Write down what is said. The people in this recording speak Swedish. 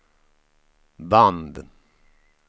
band